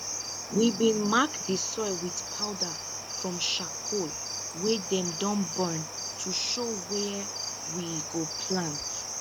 we bin mark di soil with powder from sharcoal wey dem don burn to show wia we go plant